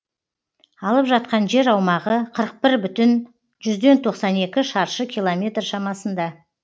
алып жатқан жер аумағы қырық бір бүтін жүзден тоқсан екі шаршы километр шамасында